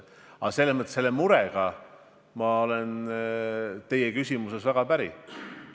Ja selle murega, mis teie küsimuses kõlas, ma olen väga päri.